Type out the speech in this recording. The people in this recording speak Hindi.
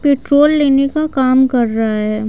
पेट्रोल लेने का काम कर रहा है।